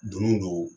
Donni don